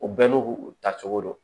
O bɛɛ n'u ta cogo don